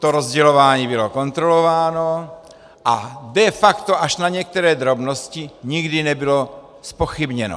To rozdělování bylo kontrolováno a de facto až na některé drobnosti nikdy nebylo zpochybněno.